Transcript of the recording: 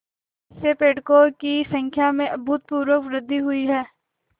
इससे पर्यटकों की संख्या में अभूतपूर्व वृद्धि हुई है